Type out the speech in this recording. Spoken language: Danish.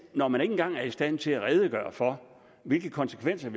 når man ikke engang er i stand til at redegøre for hvilke konsekvenser